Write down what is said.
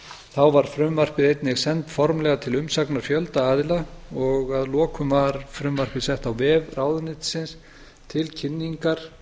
þá var frumvarpið einnig sent formlega til umsagnar fjölda aðila að lokum var frumvarpið sett á vef ráðuneytisins til kynningar